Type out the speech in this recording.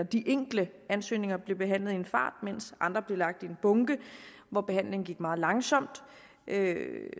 de enkle ansøgninger blev behandlet i en fart mens andre blev lagt i en bunke hvor behandlingen gik meget langsomt